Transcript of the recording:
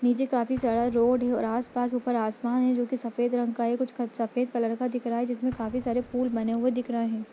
नीचे काफी सारा रोड है और आस-पास ऊपर आसमान है जो कि सफेद रंग का है कुछ सफ़ेद कलर का दिख रहा है जिसमें काफी सारे फूल बने हुए दिख रहे हैं।